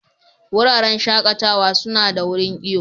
Wuraren shakatawa suna da wurin iyo.